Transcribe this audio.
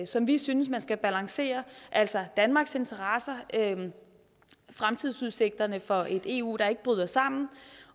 som vi synes man skal balancere altså danmarks interesser fremtidsudsigterne for et eu der ikke bryder sammen